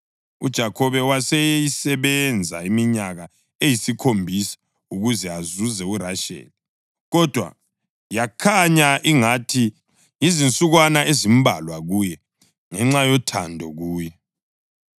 UJakhobe waseyisebenza iminyaka eyisikhombisa ukuze azuze uRasheli, kodwa yakhanya ingathi yizinsukwana ezimbalwa kuye ngenxa yothando kuye.